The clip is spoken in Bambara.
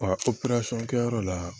kɛyɔrɔ la